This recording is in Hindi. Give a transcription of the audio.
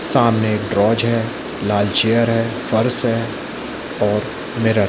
सामने एक ट्रोच है लाल चेयर है फर्श है और मिरर --